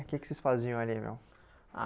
O que que vocês faziam ali, meu? Ah